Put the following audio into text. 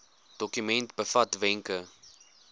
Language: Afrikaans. dokument bevat wenke